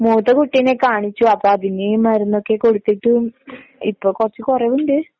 മുത്ത കുട്ടിനെ കാണിച്ചു, അപ്പൊ അതിന് മരുന്നൊക്കെ കൊടുത്തിട്ടും ഇപ്പൊ കുറച്ച് കുറവുണ്ട്